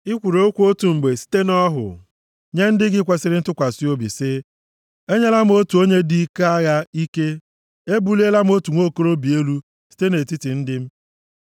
I kwuru okwu otu mgbe site nʼọhụ, nye ndị gị kwesiri ntụkwasị obi sị: “Enyela m otu onye dị ike agha ike; Ebuliela m otu nwa okorobịa elu site nʼetiti ndị m.